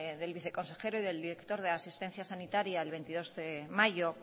del viceconsejero y del director de asistencia sanitaria el veintidós de mayo